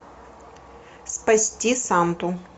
спасти санту